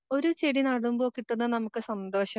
ഒരു ചെടി നടുമ്പം കിട്ടുന്ന നമുക്ക് സന്തോഷം